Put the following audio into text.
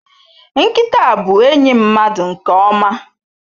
Nkịta bụ enyi mmadụ nke ọma.